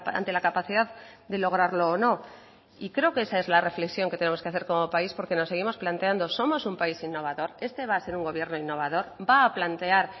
ante la capacidad de lograrlo o no y creo que esa es la reflexión que tenemos que hacer como país porque nos seguimos planteando somos un país innovador este va a ser un gobierno innovador va a plantear